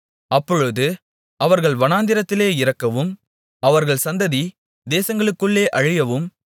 அப்பொழுது அவர்கள் வனாந்தரத்திலே இறக்கவும் அவர்கள் சந்ததி தேசங்களுக்குள்ளே அழியவும்